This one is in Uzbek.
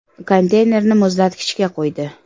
Konteynerni muzlatkichga qo‘ydi.